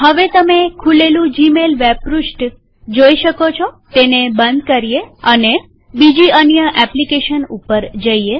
હવે તમે ખૂલેલું જીમેલ વેબ પૃષ્ઠ જોઈ શકો છોતેને બંધ કરીએ અને બીજી અન્ય એપ્લીકેશન પર જઈએ